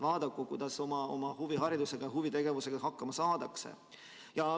Vaadaku, kuidas oma huvihariduse ja huvitegevuse korraldamisega hakkama saavad.